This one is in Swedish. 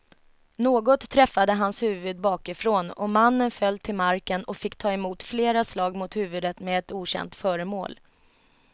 Något träffade hans huvud bakifrån och mannen föll till marken och fick ta emot flera slag mot huvudet med ett okänt föremål.